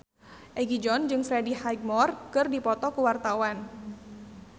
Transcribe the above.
Egi John jeung Freddie Highmore keur dipoto ku wartawan